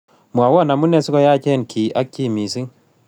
Mwawon amunee sigoyaacheen kiy ak chii miising'